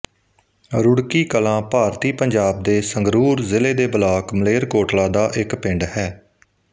ਰੁੜਕੀ ਕਲਾਂ ਭਾਰਤੀ ਪੰਜਾਬ ਦੇ ਸੰਗਰੂਰ ਜ਼ਿਲ੍ਹੇ ਦੇ ਬਲਾਕ ਮਲੇਰਕੋਟਲਾ ਦਾ ਇੱਕ ਪਿੰਡ ਹੈ